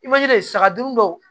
I manji de saga dun dɔw